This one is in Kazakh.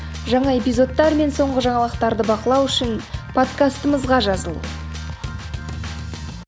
жаңа эпизодтар мен соңғы жаңалықтарды бақылау үшін подкастымызға жазыл